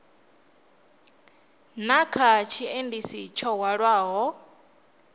na kha tshiendisi tsho hwalaho